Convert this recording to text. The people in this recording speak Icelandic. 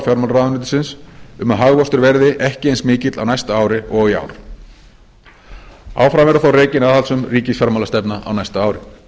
fjármálaráðuneytisins um að hagvöxtur verði ekki eins mikill á næsta ári og í ár áfram verður þó rekin aðhaldssöm ríkisfjármálastefna á næsta ári